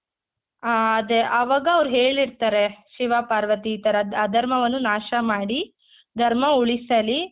ಆ ಅದೇ ಆವಾಗ ಅವ್ರು ಹೇಳಿರ್ತಾರೆ ಶಿವ ಪಾರ್ವತಿ ಈ ತರ ಅಧರ್ಮವನ್ನು ನಾಶ ಮಾಡಿ ಧರ್ಮ ಉಳಿಸಲಿ